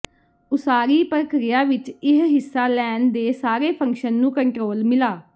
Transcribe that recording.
ਉਸਾਰੀ ਪ੍ਰਕਿਰਿਆ ਵਿੱਚ ਇਹ ਹਿੱਸਾ ਲੈਣ ਦੇ ਸਾਰੇ ਫੰਕਸ਼ਨ ਨੂੰ ਕੰਟਰੋਲ ਮਿਲਾ